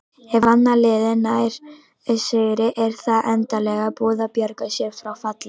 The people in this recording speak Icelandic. Ef annað liðið nær sigri er það endanlega búið að bjarga sér frá falli.